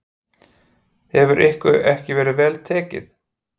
Hefur ykkur ekki verið vel tekið?